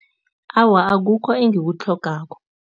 Awa, akukho engikutlhogako.